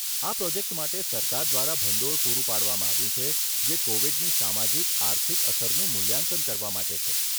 આ પ્રોજેક્ટ માટે સરકાર દ્વારા ભંડોળ પૂરું પાડવામાં આવ્યું છે જે કોવિડની સામાજિક આર્થિક અસરનું મૂલ્યાંકન કરવા માટે છે.